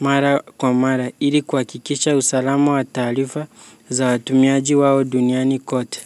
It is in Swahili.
mara kwa mara ili kuhakikisha usalama wa taarifa za watumiaji wao duniani kote.